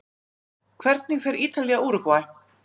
Hvernig fer Ítalía- Úrúgvæ?